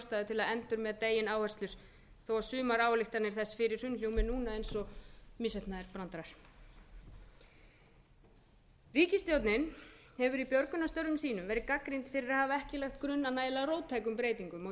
að endurmeta eigin áherslur þó að sumar ályktanir þess hljómi núna eins og misheppnaðir brandarar ríkisstjórnin hefur í björgunarstörfum sínum verið gagnrýnd fyrir að hafa ekki lagt grunn að nægilega róttækum breytingum á